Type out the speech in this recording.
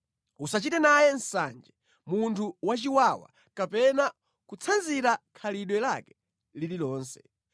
Usachite naye nsanje munthu wachiwawa kapena kutsanzira khalidwe lake lililonse.